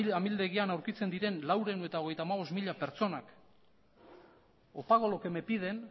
amildegian aurkitzen diren laurehun eta hogeita hamabost mila pertsonak o pago lo que me piden